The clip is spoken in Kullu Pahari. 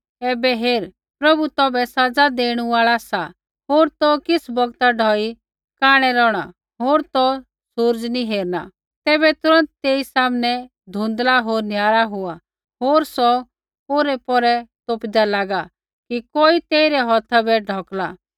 ऐबै हेर प्रभु तौभै सज़ा देणु आल़ा सा होर तौ किछ़ बौगता ढौई कांणै रौहणा होर तौ सूरज़ नी हेरना तैबै तुरन्त तेई सामनै धुँधला होर निहारा हुआ होर सौ औरैपौरै तोपिदा लागा कि कोई तेइरै हौथा बै ढौकला